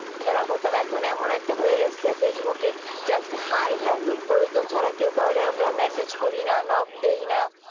খেলা করতাম এখন এমন একটা হয়ে গেছে ফেসবুক এ just hi hello প্রয়োজন ছাড়া কেউ কৌড়ি messages করি না knock দেয় না